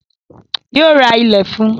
Yóò ra ilẹ̀ fún un